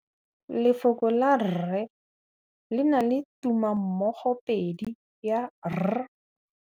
Lefoko la rre, le na le tumammogôpedi ya, r.